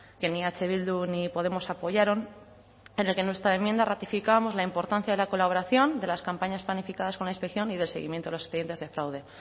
que ni eh bildu ni podemos apoyaron en el que en nuestra enmienda ratificábamos la importancia de la colaboración de las campañas planificadas con la inspección y de seguimiento de los expedientes de fraude